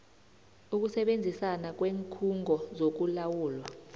ukusebenzisana kweenkhungo zokulawulwa